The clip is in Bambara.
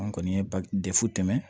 An kɔni ye ba defu tɛmɛn